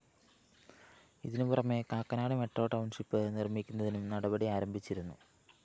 ഇതിന് പുറമെ Kakkanad metro township നിര്‍മ്മിക്കുന്നതിനും നടപടിയാരംഭിച്ചിരുന്നു